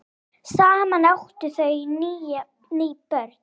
Saman áttu þau níu börn.